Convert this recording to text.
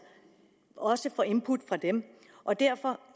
også input fra dem og derfor